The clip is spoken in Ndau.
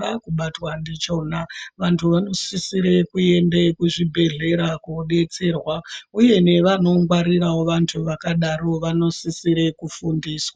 vaakubatwa ndichona, vantu vanosisire kuende kuzvibhedlera kodetserwa ,uye nevanongwarirawo vantu vakadaro vanosisire kufundiswa.